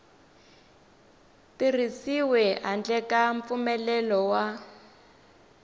tirhisiwi handle ka mpfumelelo wa